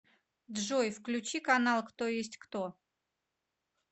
джой включи канал кто есть кто